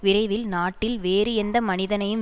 விரைவில் நாட்டில் வேறு எந்த மனிதனையும்